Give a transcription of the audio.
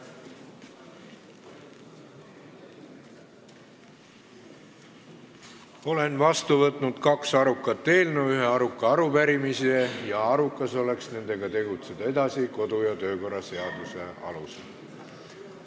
Olen vastu võtnud kaks arukat eelnõu, ühe aruka arupärimise ning arukas oleks tegutseda nendega edasi kodu- ja töökorra seaduse alusel.